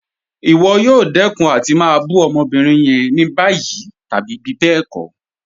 Ìwọ̀ yóò dẹkun àti má bù ọmọ́bírín yẹn ní bayí tàbí bíbẹ́ẹ̀kọ̀.